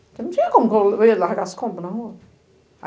Porque não tinha como, eu ia largar as compras na rua.